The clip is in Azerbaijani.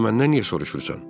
Salı məndən niyə soruşursan?